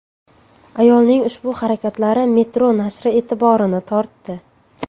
Ayolning ushbu harakatlari Metro nashri e’tiborini tortdi .